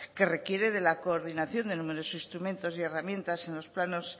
que requiere de la coordinación de numerosos instrumentos y herramientas en los planos